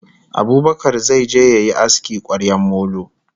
Abubakar zai je yayi aski kwaryar molo